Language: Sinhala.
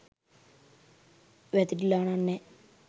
වැතිරිලා නං නෑ